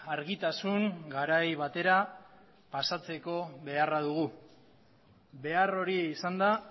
argitasun garai batera pasatzeko beharra dugu behar hori izanda